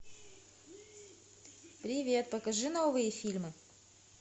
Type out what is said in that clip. привет покажи новые фильмы